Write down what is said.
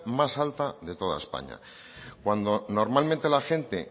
más alta de toda españa cuando normalmente la gente